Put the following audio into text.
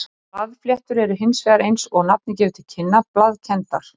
Blaðfléttur eru hins vegar eins og nafnið gefur til kynna blaðkenndar.